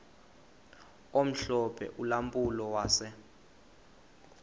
omhlophe ulampulo wase